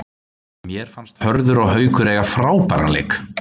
Mér fannst Hörður og Haukur eiga frábæran leik.